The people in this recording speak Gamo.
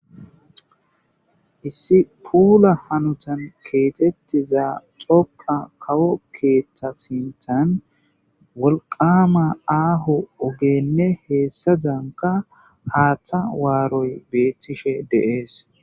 issi puula hanutan keetettiza xoqa kawo keeththa sintan wolqama aahu ogenne heessa danka haaththa waaroy beettishe deees